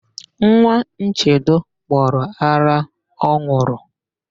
Nwa Nchedo gbọrọ ara ọ n̄ụrụ.